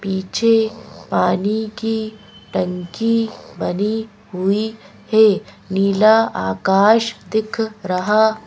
पीछे पानी की टंकी बनी हुई है नीला आकाश दिख रहा--